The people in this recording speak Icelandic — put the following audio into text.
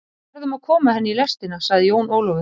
Við verðum að koma henni í lestina, sagði Jón Ólafur.